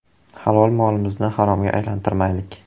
“Halol molimizni haromga aylantirmaylik”.